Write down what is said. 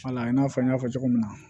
Wala i n'a fɔ n y'a fɔ cogo min na